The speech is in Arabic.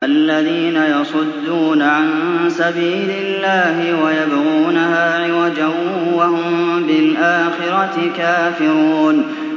الَّذِينَ يَصُدُّونَ عَن سَبِيلِ اللَّهِ وَيَبْغُونَهَا عِوَجًا وَهُم بِالْآخِرَةِ كَافِرُونَ